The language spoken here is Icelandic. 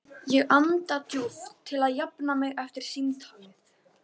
Ég anda djúpt til að jafna mig eftir símtalið.